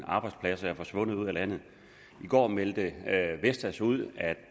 arbejdspladser er forsvundet ud af landet i går meldte vestas ud